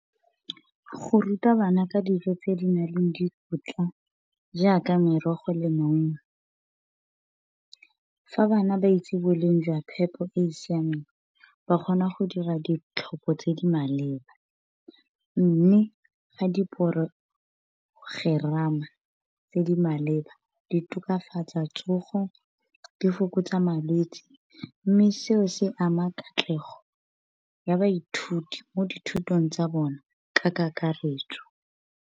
Go ruta bana ka dijo tse di nang le dikotla jaaka merogo le maungo. Fa bana ba itse boleng jwa phepo e siameng, ba kgona go dira ditlhopho tse di maleba. Mme fa diporogerama tse di maleba di tokafatsa tsogo, di fokotsa malwetse. Mme se o se ama katlego ya baithuti, mo dithutong tsa bona ka kakaretso.